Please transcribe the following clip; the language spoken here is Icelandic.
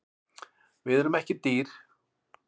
Við erum ekki dýr